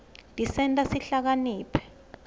tisenta sihlakaniphe